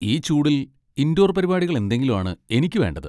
ഈ ചൂടിൽ ഇൻഡോർ പരിപാടികൾ എന്തെങ്കിലും ആണ് എനിക്ക് വേണ്ടത്.